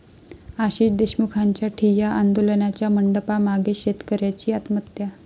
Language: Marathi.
आशिष देशमुखांच्या ठिय्या आंदोलनाच्या मंडपामागेच शेतकऱ्याची आत्महत्या